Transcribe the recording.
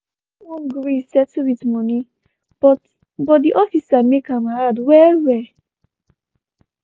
i no wan gree settle wit moni but but di officer make am hard well well.